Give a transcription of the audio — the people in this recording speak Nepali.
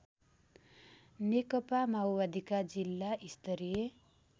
नेकपामाओवादीका जिल्ला स्तरीय